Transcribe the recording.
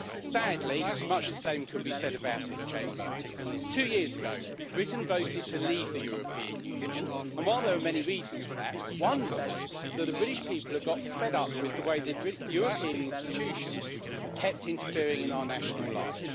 Sadly, much the same could be said about this Chamber. Two years ago Britain voted to leave the European Union, and while there were many reasons for that, one was that the British people had got fed up with the way the European institutions kept interfering in our national life.